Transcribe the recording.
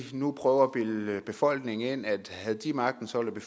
nu prøver at bilde befolkningen ind at havde de magten så ville